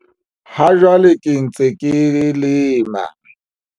Ha jwale ke ntse ke lema.